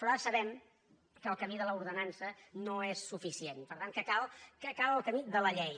però ara sabem que el camí de l’ordenança no és suficient per tant que cal el camí de la llei